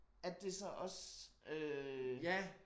At det så også øh